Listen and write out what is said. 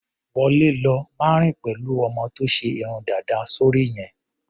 Wọlé lọ! Má rìn pẹ̀lú ọmọ tó ṣe irun dàda sóri yẹn.